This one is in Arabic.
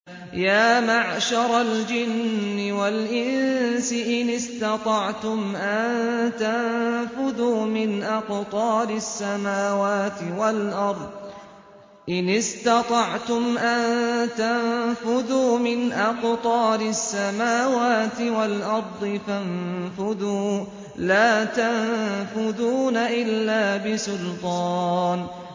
يَا مَعْشَرَ الْجِنِّ وَالْإِنسِ إِنِ اسْتَطَعْتُمْ أَن تَنفُذُوا مِنْ أَقْطَارِ السَّمَاوَاتِ وَالْأَرْضِ فَانفُذُوا ۚ لَا تَنفُذُونَ إِلَّا بِسُلْطَانٍ